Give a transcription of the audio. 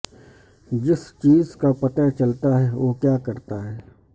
جس چیز کا پتہ چلتا ہے وہ کیا کرتا ہے